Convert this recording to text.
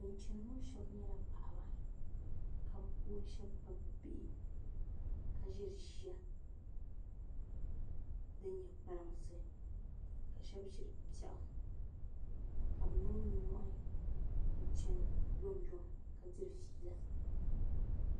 Bin chɛni ŋo shab nyɛla paɣaba ka bi puuni shab kpabi bihi ka ʒiri ʒiya din nyɛ kpalansi ka shab ʒiri piɛɣu ka bi niŋ nimmohi n chɛni yomyom ka diri fiila